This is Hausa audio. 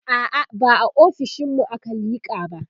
a'a ba a ofishinmu aka liƙa ba